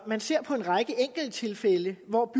man ser på en række enkelttilfælde hvor